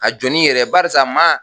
Ka jɔn ni yɛrɛ barisa maa